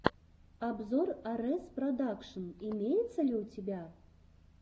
обзор арэс продакшн имеется ли у тебя